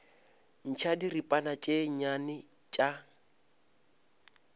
ntšha diripana tše nnyane tša